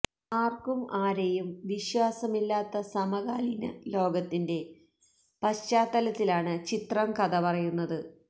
ആര്ക്കും ആരെയും വിശ്വാസമില്ലാത്ത സമകാലീന ലോകത്തിന്റെ പശ്ചാത്തലത്തിലാണ് ചിത്രം കഥ പറയുന്നത്